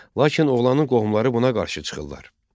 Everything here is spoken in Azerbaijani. Lakin oğlanın qohumları buna qarşı çıxırlar.